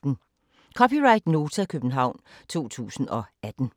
(c) Nota, København 2018